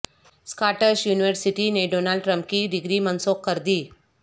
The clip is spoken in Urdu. اسکاٹش یونیورسٹی نے ڈونلڈ ٹرمپ کی ڈگری منسوخ کردی